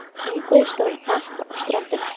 Ungviðið stóð í hnapp á ströndinni.